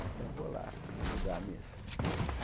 Então, vou lá ajudar a missa.